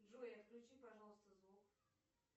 джой отключи пожалуйста звук